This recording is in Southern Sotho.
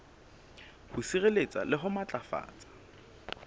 ho sireletsa le ho matlafatsa